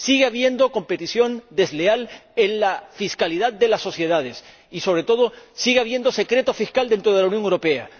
Sigue habiendo competencia desleal en la fiscalidad de las sociedades y, sobre todo, sigue habiendo secreto fiscal dentro de la Unión Europea.